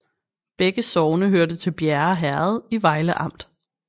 Begge sogne hørte til Bjerre Herred i Vejle Amt